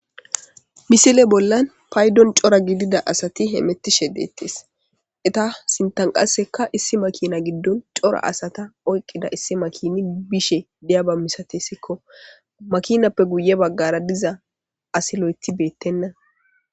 Misile bollan paydon cora gidida asati hemetushe deettes. Eta sinttan qassekka issi makina giddon cora asata oyiqqida issi makinay bishe diyaba misatesiko. Makinappe guye baggara diza asi loyiti beettena.